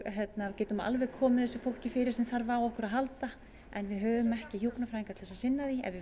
getum alveg komið þessu fólki fyrir sem þarf á okkur að halda en við höfum ekki hjúkrunarfræðinga til að sinna því ef við